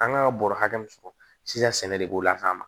An kan ka bɔrɔ hakɛ min sɔrɔ sisan sɛnɛ de b'o lakana